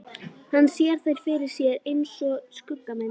Hann sér þær fyrir sér einsog skuggamyndir.